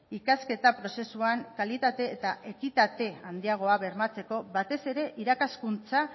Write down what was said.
ikasketa prozesuan kalitate eta ekitate handiagoa bermatzeko batez ere irakaskuntza